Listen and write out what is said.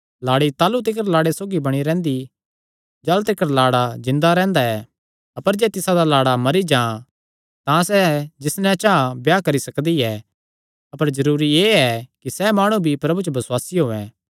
लाड़ी ताह़लू तिकर लाड़े सौगी बणी रैंह्दी जाह़लू तिकर लाड़ा जिन्दा रैंह्दा ऐ अपर जे तिसादा लाड़ा मरी जां तां सैह़ जिस नैं चां ब्याह करी सकदी ऐ अपर जरूरी एह़ ऐ कि सैह़ माणु भी प्रभु च बसुआसी होयैं